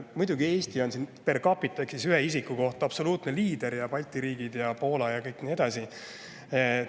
Muidugi, Eesti on siin per capita ehk ühe isiku kohta absoluutne liider ning Balti riigid, Poola ja nii edasi.